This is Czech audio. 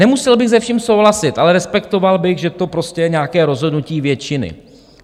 Nemusel bych se vším souhlasit, ale respektoval bych, že to prostě je nějaké rozhodnutí většiny.